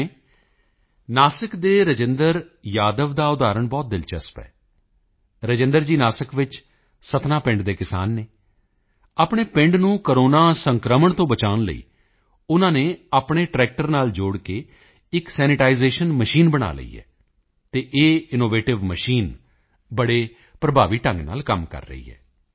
ਜਿਵੇਂ ਨਾਸਿਕ ਦੇ ਰਾਜੇਂਦਰ ਯਾਦਵ ਦਾ ਉਦਾਹਰਣ ਬਹੁਤ ਦਿਲਚਲਪ ਹੈ ਰਾਜੇਂਦਰ ਜੀ ਨਾਸਿਕ ਵਿੱਚ ਸਤਨਾ ਪਿੰਡ ਦੇ ਕਿਸਾਨ ਹਨ ਆਪਣੇ ਪਿੰਡ ਨੂੰ ਕੋਰੋਨਾ ਸੰਕ੍ਰਮਣ ਤੋਂ ਬਚਾਉਣ ਲਈ ਉਨ੍ਹਾਂ ਨੇ ਆਪਣੇ ਟ੍ਰੈਕਟਰ ਨਾਲ ਜੋੜ ਕੇ ਇੱਕ ਸੈਨੀਟਾਈਜ਼ੇਸ਼ਨ ਮਸ਼ੀਨ ਬਣਾ ਲਈ ਹੈ ਅਤੇ ਇਹ ਇਨੋਵੇਟਿਵ ਮਸ਼ੀਨ ਬਹੁਤ ਪ੍ਰਭਾਵੀ ਢੰਗ ਨਾਲ ਕੰਮ ਕਰ ਰਹੀ ਹੈ